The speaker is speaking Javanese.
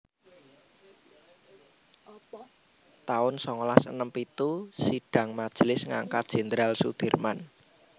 taun songolas enem pitu Sidhang majelis ngangkat Jendral Sudirman